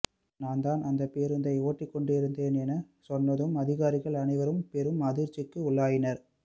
நான்தான் அந்தப் பேருந்தை ஓட்டிக்கொண்டிருந்தேன் எனச் சொன்னதும் அதிகாரிகள் அனைவரும் பெரும் அதிர்ச்சிக்கு உள்ளாயினர்